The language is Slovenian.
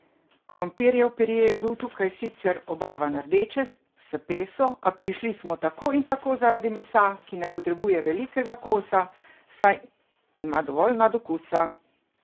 Krompirjev pire je bil tukaj sicer obarvan rdeče, s peso, a prišli smo tako in tako zaradi mesa, ki ne potrebuje velikega kosa, saj ima dovolj nadokusa!